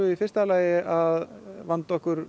í fyrsta lagi að vanda okkur